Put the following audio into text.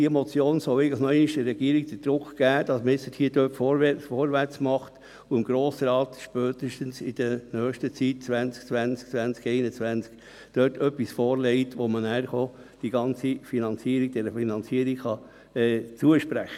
Diese Motion soll der Regierung nochmals Druck auferlegen, diesbezüglich vorwärts zu machen und dem Grossen Rat spätestens 2020/21 etwas vorzulegen, um die ganze Finanzierung zu sprechen.